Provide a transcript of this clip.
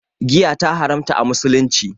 Giya ta haramta a musulunci